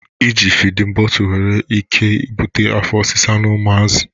Eji fidin botul nwere ike ibute afọ osisa n'umuazi